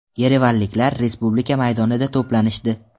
Yerevanliklar Respublika maydonida to‘planishdi.